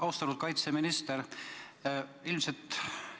Austatud kaitseminister!